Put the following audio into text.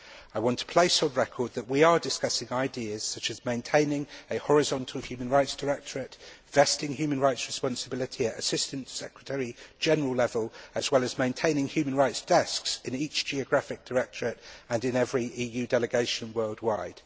I want to place on record that we are discussing ideas such as maintaining a horizontal human rights directorate, vesting human rights responsibility at Assistant Secretary General level as well as maintaining human rights desks in each geographic directorate and in every EU delegation worldwide.